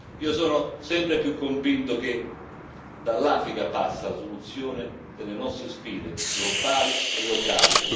Io sono sempre più convinto che dall'Africa passi la soluzione delle nostre sfide globali e locali.